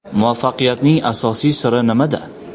Muvaffaqiyatning asosiy siri nimada?